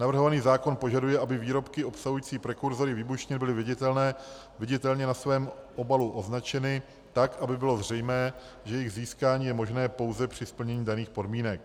Navrhovaný zákon požaduje, aby výrobky obsahující prekurzory výbušnin byly viditelně na svém obalu označeny tak, aby bylo zřejmé, že jejich získání je možné pouze při splnění daných podmínek.